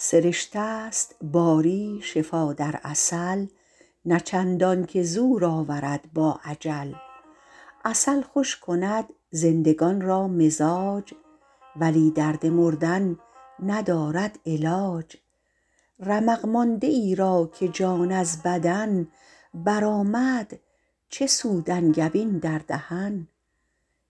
سرشته ست باری شفا در عسل نه چندان که زور آورد با اجل عسل خوش کند زندگان را مزاج ولی درد مردن ندارد علاج رمق مانده ای را که جان از بدن برآمد چه سود انگبین در دهن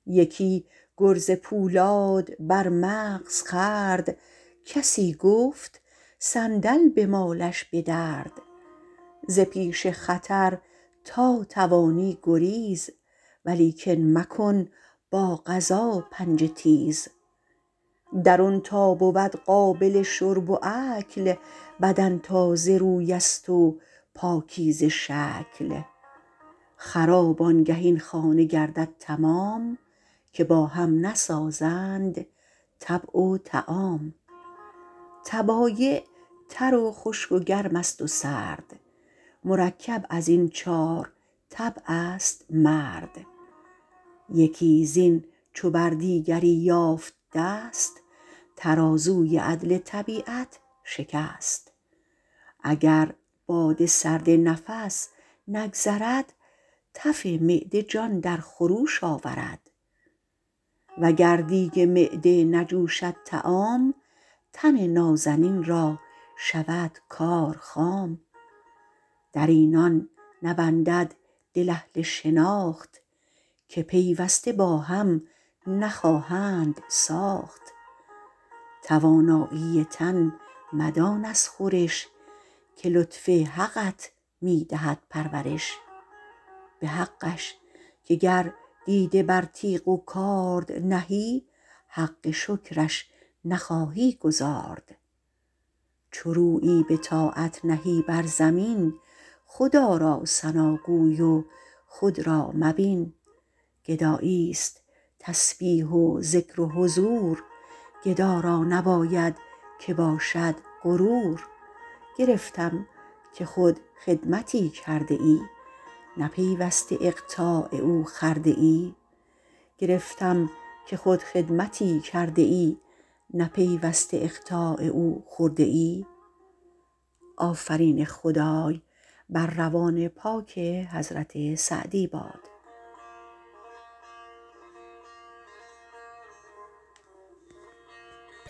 یکی گرز پولاد بر مغز خورد کسی گفت صندل بمالش به درد ز پیش خطر تا توانی گریز ولیکن مکن با قضا پنجه تیز درون تا بود قابل شرب و اکل بدن تازه روی است و پاکیزه شکل خراب آنگه این خانه گردد تمام که با هم نسازند طبع و طعام طبایع تر و خشک و گرم است و سرد مرکب از این چار طبع است مرد یکی زین چو بر دیگری یافت دست ترازوی عدل طبیعت شکست اگر باد سرد نفس نگذرد تف معده جان در خروش آورد وگر دیگ معده نجوشد طعام تن نازنین را شود کار خام در اینان نبندد دل اهل شناخت که پیوسته با هم نخواهند ساخت توانایی تن مدان از خورش که لطف حقت می دهد پرورش به حقش که گر دیده بر تیغ و کارد نهی حق شکرش نخواهی گزارد چو رویی به طاعت نهی بر زمین خدا را ثناگوی و خود را مبین گدایی است تسبیح و ذکر و حضور گدا را نباید که باشد غرور گرفتم که خود خدمتی کرده ای نه پیوسته اقطاع او خورده ای